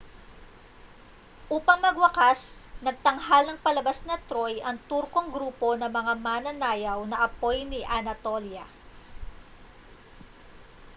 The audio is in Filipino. upang magwakas nagtanghal ng palabas na troy ang turkong grupo ng mga mananayaw na apoy ni anatolia